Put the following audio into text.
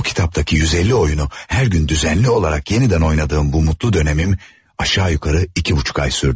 O kitabdaki 150 oyunu hər gün düzənli olaraq yenidən oynadığım bu mutlu dönəmim aşağı-yuxarı iki buçuk ay sürdü.